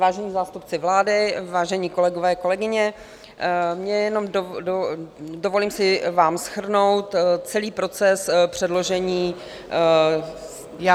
Vážení zástupci vlády, vážení kolegové, kolegyně, dovolím si vám shrnout celý proces předložení -